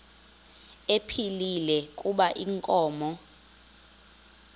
ephilile kuba inkomo